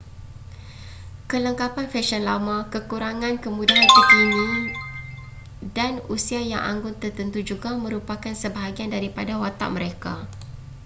kelengkapan fesyen lama kekurangan kemudahan terkini dan usia yang anggun tertentu juga merupakan sebahagian daripada watak mereka